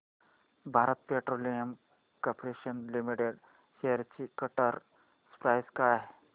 Bharat petroleum corporation limited shares ची current price काय आहे